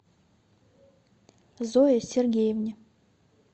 зое сергеевне